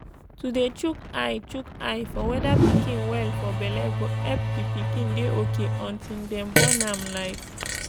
to dey shook eye shook eye for weda pikin well for belle go epp d pikin dey ok unti dem born am like